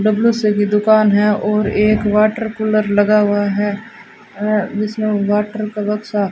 WC की दुकान है और एक वाटर कूलर लगा हुआ है और जिसमें वाटर का बक्सा --